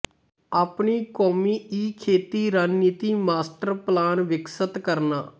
ਆਪਣੀ ਕੌਮੀ ਈਖੇਤੀ ਰਣਨੀਤੀ ਮਾਸਟਰ ਪਲਾਨ ਵਿਕਸਤ ਕਰਨਾ